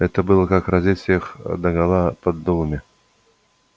это было как раздеть всех догола под дулами